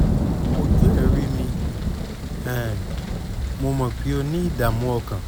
ojú ẹ̀ rí mi um mo mọ̀ pé o ní ìdààmú ọkàn